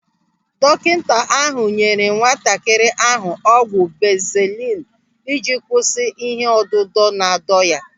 Dọkịta ahụ nyere nwatakịrị ahụ ọgwụ banzelu ị ji kwụsị ihe ọdịdọ na-adọ ya.